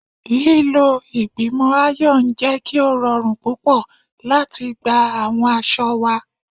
Lilo igbimọ iron jẹ ki o rọrun pupọ lati gba awọn aṣọ wa